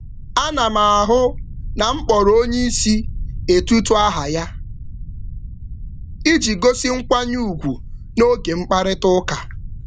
Ọ na-akpọ oga aha ya mgbe niile iji gosi nkwanye ùgwù n’oge mkparịta ụka.